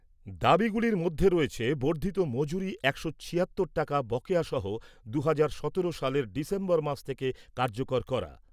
দাবিগুলির মধ্যে রয়েছে বর্ধিত মজুরি একশো ছিয়াত্তর টাকা বকেয়া সহ দু'হাজার সতেরো সালের ডিসেম্বর মাস থেকে কার্যকর করা।